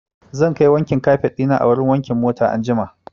Zan kai wankin kafet ɗina anjima a wurin wankin mota.